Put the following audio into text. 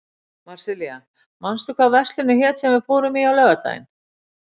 Marsilía, manstu hvað verslunin hét sem við fórum í á laugardaginn?